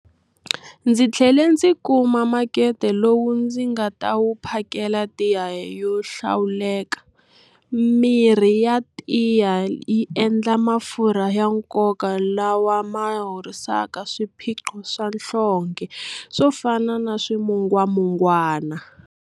Ndzi tlhele ndzi kuma makete lowu ndzi nga ta wu phakela tiya yo hlawuleka. Mirhi ya tiya yi endla mafurha ya nkoka lawa ma horisaka swiphiqo swa nhlonge swo fana na swimungwamungwana.